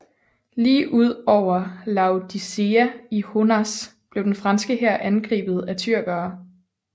Lige ud over Laodicea i Honaz blev den franske hær angrebet af tyrkerne